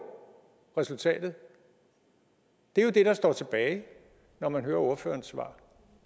resultatet det er jo det der står tilbage når man hører ordførerens svar